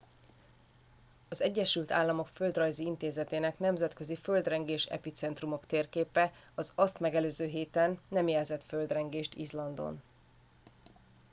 az egyesült államok földrajzi intézetének nemzetközi földrengés epicentrumok térképe az azt megelőző héten nem jelzett földrengést izlandon